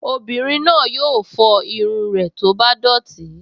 Obìnrin náà yóò fọ irun rẹ̀ tó bá dọ̀tí